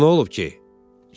Ona nə olub ki?